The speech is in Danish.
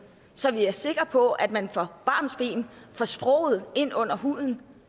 så vi er sikre på at man fra barnsben får sproget ind under huden